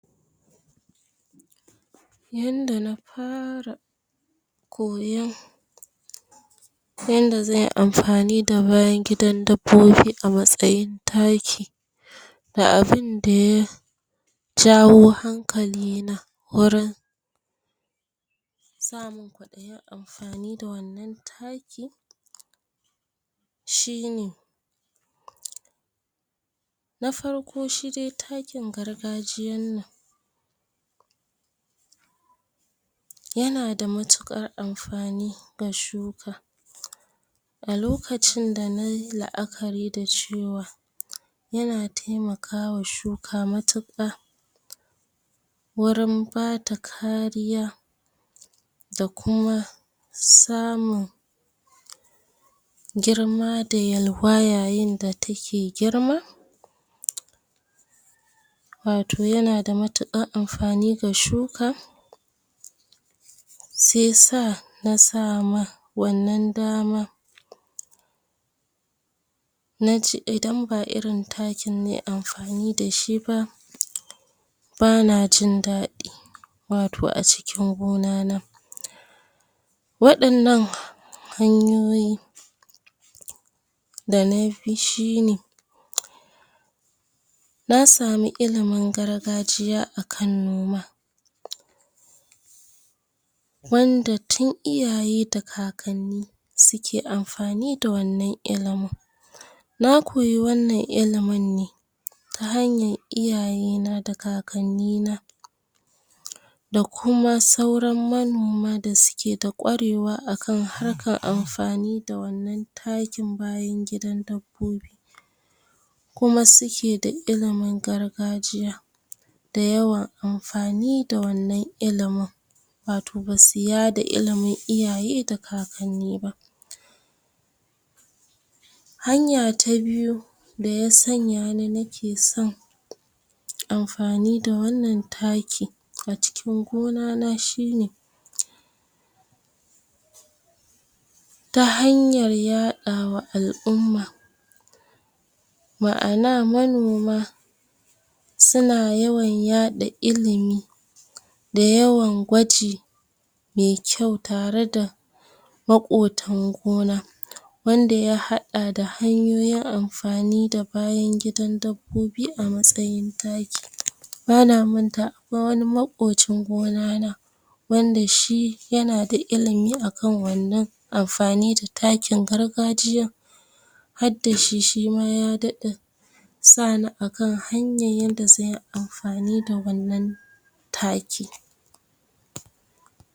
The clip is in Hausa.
Yanda na fara koyon yanda zanyi amfani da bayan gidan dabbobi a matsayin taki, da abunda ya jawo hankali na wurin samun kwaɗayi da amfani da wannan takin shine: Na farko, shi dai takin gargajiyan nan yana da matuƙar amfani ga shuka, a lokacin da nayi la'akari da cewa yana taimakawa shuka matuƙa, wurin bata kariya da kuma samun girma da yalwa yayin da take girma, wato yana da matuƙan amfani ga shuka, sai sa na sama wannan dama, nace idan ba irin takin nayi amfani dashi ba, bana jin daɗi, wato a cikin gona na. Waɗannan hanyoyi da na bi shine, na samu ilimin gargajiya a kan noma, wanda tun iyaye da kakanni sike amfani da wannan ilimin. Na koyi wannan ilimin ne ta hanyan iyaye na da kakanni na, da kuma sauran manoma da suke da ƙwarewa a kan harkan amfani da wannan takin bayan gidan dabbobi, kuma suke da ilimin gargajiya, da yawan amfani da wannan ilimin, wato basu yada ilimin iyaye da kakanni ba. Hanya ta biyu da ya sanya ni nake son amfani da wannan taki a cikin gona na shine, ta hanyar yaɗawa al'umma, ma'ana manoma suna yawan yaɗa ilimi, da yawan gwaji me kyau, tare da maƙotan gona, wanda ya haɗa da hanyoyin amfani da bayan gidan dabbobi a matsayin taki. Bana manta akwai wani maƙocin gona na, wanda shi yana da ilimi a kan wannan amfani da takin gargajiyan, hadda shi, shima ya daɗa sa ni a kan hanyan yanda zanyi amfani da wannan taki.